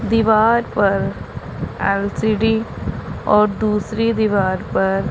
दीवार पर एल_सी_डी और दूसरी दीवार पर--